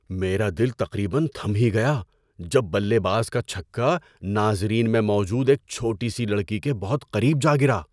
میرا دل تقریبا تھم ہی گیا جب بلے باز کا چھکا ناظرین میں موجود ایک چھوٹی سی لڑکی کے بہت قریب جا گرا۔